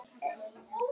Lét þá illa í honum.